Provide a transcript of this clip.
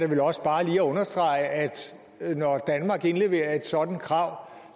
vel også bare lige understrege at når danmark indleverer et sådant krav